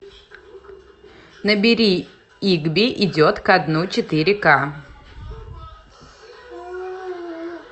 набери игби идет ко дну четыре ка